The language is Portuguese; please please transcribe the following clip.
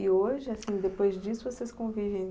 E hoje, assim, depois disso, vocês convivem?